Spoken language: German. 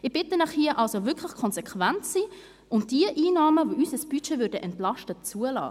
Ich bitte Sie hier wirklich, konsequent zu sein, und diejenigen Einnahmen, die unser Budget entlasten würden, zuzulassen.